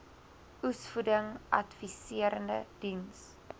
oesvoeding adviserende diens